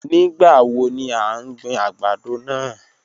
Nigbawo ni a n gbin agbado naa?